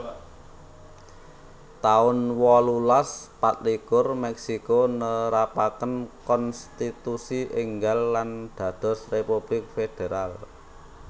taun wolulas patlikur Meksiko nerapaken konstitusi énggal lan dados republik federal